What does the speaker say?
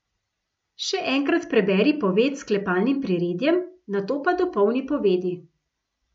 Še enkrat preberi poved s sklepalnim priredjem, nato pa dopolni povedi.